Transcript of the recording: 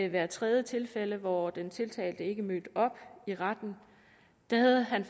hvert tredje tilfælde hvor den tiltalte ikke mødte op i retten havde han